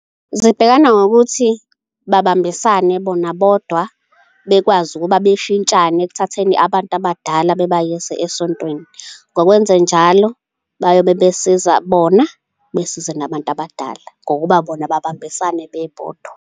Zibhekana ngokuthi babambisane bona bodwa bekwazi ukuba beshintshane ekuthatheni abantu abadala bebayise esontweni. Ngokwenzenjalo bayobe besiza bona besiza nabantu abadala ngokuba bona babambisane bebodwa.